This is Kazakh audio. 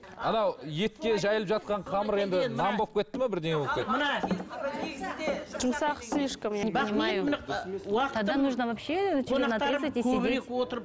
анау етке жайылып жатқан қамыр енді нан болып кетті ме бірдеңе болып кетті